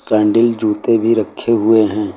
Sandal जूते भी रखे हुए हैं।